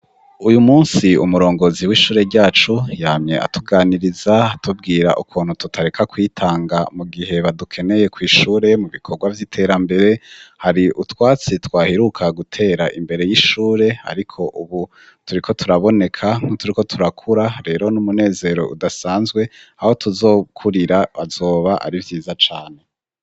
Uyu munsi umurongozi w'ishure ryacu yamye atuganiriza atubwira ukuntu tutareka kwitanga mu gihe badukeneye kw'ishure mu bikorwa vy'iterambere, hari utwatsi twaheruka gutera imbere y'ishure ariko ubu turiko turaboneka nkuturiko turakura, rero n'umunezero udasanzwe aho tuzokurira azoba ari vyiza cane.